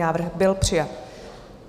Návrh byl přijat.